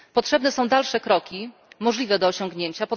Potrzebne są dalsze kroki możliwe do osiągnięcia.